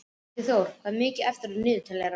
Ingiþór, hvað er mikið eftir af niðurteljaranum?